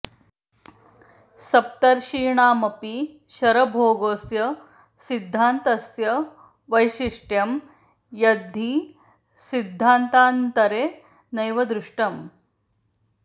सप्तर्षीणामपि शरभोगोऽस्य सिद्धान्तस्य वैशिष्ट्यं यद्धि सिद्धान्तान्तरे नैव दृष्टम्